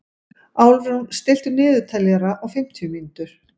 Álfrún, stilltu niðurteljara á fimmtíu mínútur.